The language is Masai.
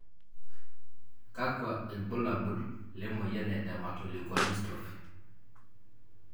kakwa ilbulabul emoyian e Dermatoleukodystrophy?